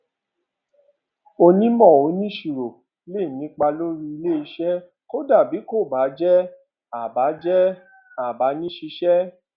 ònímọ oníṣirò lè nípa lórí ilé iṣẹ kódà bí kò bá jẹ a bá jẹ a bá ni ṣíṣẹ